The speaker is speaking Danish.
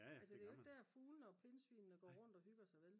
altså det er jo ikke der fuglene og pindsvinene går rundt og hygger sig vel